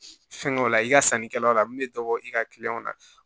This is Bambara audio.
Fɛnkɛw la i ka sannikɛlaw la min bɛ dɔ bɔ i ka kiliyanw na